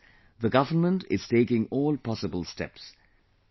For this, the Government is taking all possible steps